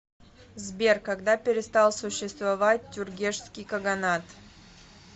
сбер когда перестал существовать тюргешский каганат